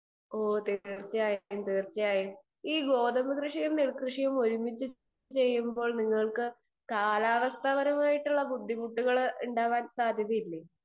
speaker 2 ഓഹ് തീർച്ചയായിട്ടും ഈ ഗോതമ്പ് കൃഷിയും നെൽകൃഷിയും ഒരുമിച്ചു ചെയ്യുമ്പോൾ കാലാവസ്ഥപരമായ ബുദ്ധിമുട്ടുകൾ ഉണ്ടാകാൻ സാധ്യതയില്ലേ